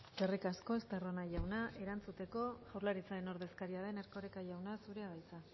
eskerrik asko estarrona jauna erantzuteko jaurlaritzaren ordezkaria den erkoreka jauna zurea da hitza